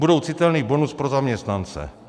Budou citelný bonus pro zaměstnance.